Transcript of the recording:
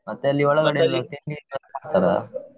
ಮತ್ತಲ್ಲಿ ಒಳಗಡೆ .